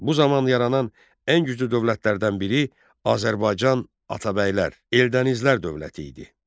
Bu zaman yaranan ən güclü dövlətlərdən biri Azərbaycan Atabəylər, Eldənizlər dövləti idi.